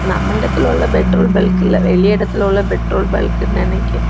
நம்ம எடத்துல உள்ள பெட்ரோல் பல்க் இல்ல வெளி எடத்துல உள்ள பெட்ரோல் பல்க்குனு நெனைகி.